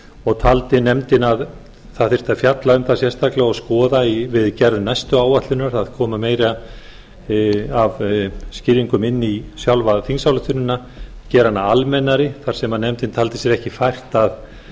og taldi nefndin að fjalla þyrfti um það sérstaklega og skoða við gerð næstu áætlunar að koma meiru af skýringum inn í sjálfa þingsályktunina gera hana almennari þar sem nefndin taldi sér ekki fært að